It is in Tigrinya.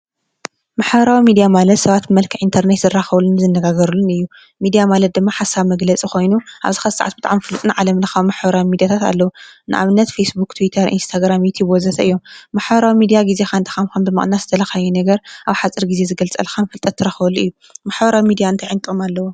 ማሕበራዊ ሚዲያ ማለት ሰባት ብመልከዕ ኢንተርኔት ዝራኸብሉን ዝነጋገሩሉን እዩ፡፡ ሚድያ ማለት ድማ ሓሳብ መግለፂ ኾይኑ ኣብዝ ሐዚ ሰዓት ብጣዕሚ ፍሉጥን ዓለም ለኸ ምሕደራ ሚዲያታት ኣለዉ፡፡ ንኣብነት ፌስቡኽ ቴወይተር ፣እንስተግራም ይቲበዘሰ እዮም ማሕበራዊ ሚድያ ጊዜኻን ብመቕናት ዝደለኻዮ ነገር ኣብ ሓፂር ጊዜ ዝገልግል ከም ፍልጠት ትረኸበሉ እዩ፡፡ ማሕበራዊ ሚድያ እንተይ ጥቕሚ ኣለዎ?